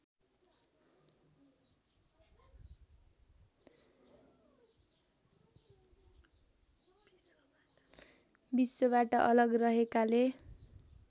विश्वबाट अलग रहेकाले